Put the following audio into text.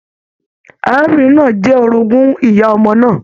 Arábìnrin náà jẹ orogún ìyá ọmọ náà.